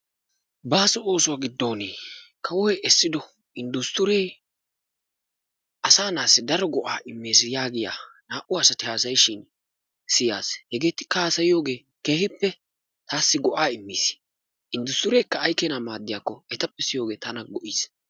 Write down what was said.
Baaso oosuwa giddon kawoy essiddo inddusttiree asaa na'aassi daro go'aa immees yaagiya naa"u asati haasayishin siyaas. Hegeetikka haasayiyogee keehippe taasi go'aa immiis. Inddusttirekka ay keenaa maaddiyakko etappe siyogee tana go'iis.